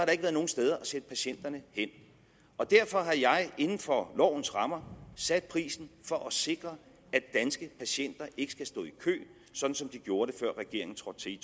ikke været nogen steder at sende patienterne hen derfor har jeg inden for lovens rammer sat prisen for at sikre at danske patienter ikke skal stå i kø sådan som de gjorde det før regeringen trådte til i